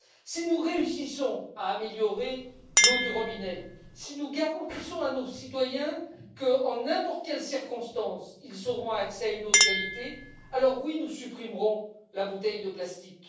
Si nous réussissons à améliorer l'eau du robinet, si nous garantissons à nos citoyens qu'en n'importe quelle circonstance, ils auront accès à une eau de qualité, alors oui, nous supprimerons la bouteille de plastique.